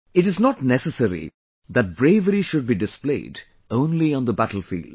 it is not necessary that bravery should be displayed only on the battlefield